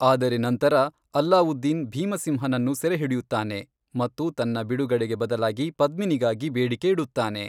ಆದರೆ ನಂತರ, ಅಲ್ಲಾವುದ್ದೀನ್ ಭೀಮಸಿಂಹನನ್ನು ಸೆರೆಹಿಡಿಯುತ್ತಾನೆ ಮತ್ತು ತನ್ನ ಬಿಡುಗಡೆಗೆ ಬದಲಾಗಿ ಪದ್ಮಿನಿಗಾಗಿ ಬೇಡಿಕೆ ಇಡುತ್ತಾನೆ.